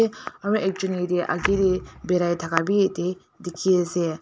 Aro ek jun ya te ake de bari thaka be ya te dekhi ase.